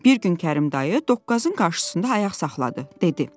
Bir gün Kərim dayı doqqazın qarşısında ayaq saxladı, dedi.